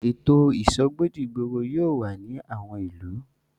Ètò ìsọgbọ́ dìgboro yóò wà ní àwọn ìlú.